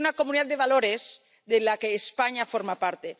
Es una comunidad de valores, de la que España forma parte.